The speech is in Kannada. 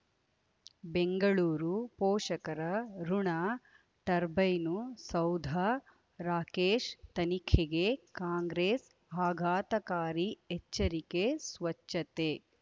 ಬೆಂಗಳೂರು ಪೋಷಕರಋಣ ಟರ್ಬೈನು ಸೌಧ ರಾಕೇಶ್ ತನಿಖೆಗೆ ಕಾಂಗ್ರೆಸ್ ಆಘಾತಕಾರಿ ಎಚ್ಚರಿಕೆ ಸ್ವಚ್ಛತೆ